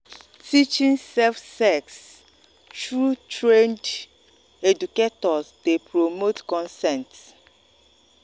teaching safe sex through trained educators dey promote consent.